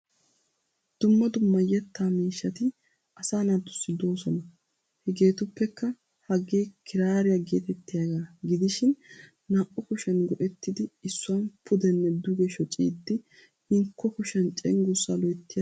Dumma dumma yettaa miishshati asaa naatussi doosona. Hegeetuppekka Hagee kiraariya geetettiyaagaa gidishin naa'u kushiyan goettiddi issuwan pudenne duge shocciidi hinkko kushiyan cengurssa loyttiyaasaa oyiqqidi kaa'eettes.